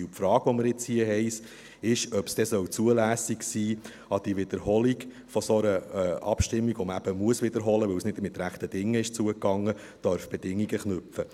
Und die Frage, die wir jetzt hier haben, ist, ob es zulässig sein soll, an die Wiederholung einer solchen Abstimmung, die man eben wiederholen muss, weil es nicht mit rechten Dingen zu- und hergegangen ist, Bedingungen zu knüpfen.